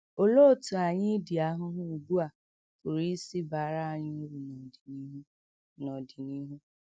Olee otú anyị idi ahụhụ ugbu a pụrụ isi baara anyị uru n’ọdịnihu? n’ọdịnihu?